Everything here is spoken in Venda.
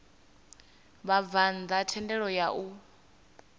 vhabvann ḓa thendelo ya u